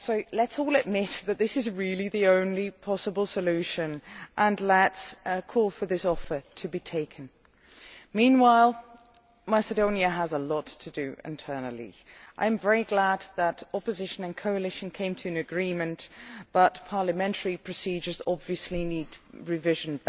Let us all admit that this is really the only possible solution and let us call for this offer to be taken up. Meanwhile, Macedonia has a lot to do internally. I am very glad the opposition and the coalition have come to an agreement, but parliamentary procedures obviously badly need revision.